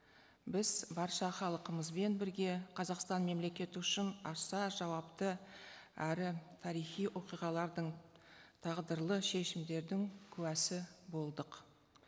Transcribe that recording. біз барша халқымызбен бірге қазақстан мемлекеті үшін аса жауапты әрі тарихи оқиғалардың тағдырлы шешімдердің куәсі болдық